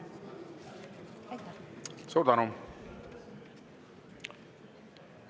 Suur tänu!